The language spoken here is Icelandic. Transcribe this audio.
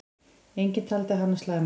Enginn taldi hana slæma.